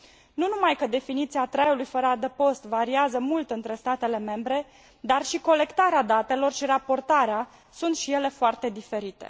Nu numai că definiția traiului fără adăpost variază mult între statele membre, dar și colectarea datelor și raportarea sunt și ele foarte diferite.